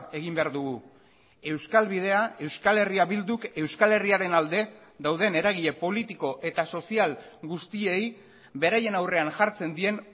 egin behar dugu euskal bidea euskal herria bilduk euskal herriaren alde dauden eragile politiko eta sozial guztiei beraien aurrean jartzen dien